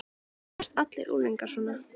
Það eru nánast allir unglingar svona.